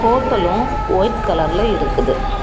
ஹோட்டல்லும் white கலர்ல இருக்குது.